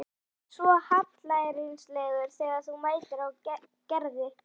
Þú ert svo hallærislegur þegar þú mænir á Gerði.